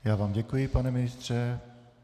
Já vám děkuji, pane ministře.